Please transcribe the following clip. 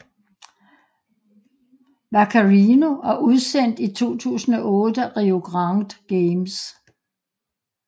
Vaccarino og udsendt i 2008 af Rio Grande Games